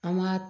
An ma